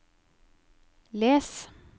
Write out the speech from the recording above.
les